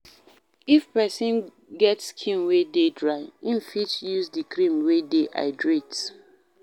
If person get skin wey dey dry, im fit use di cream wey dey hydrate